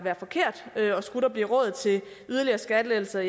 forkert og skulle der blive råd til yderligere skattelettelser